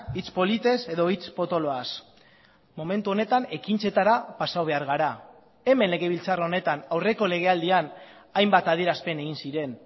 hitz politez edo hitz potoloaz momentu honetan ekintzetara pasa behar gara hemen legebiltzar honetan aurreko legealdian hainbat adierazpen egin ziren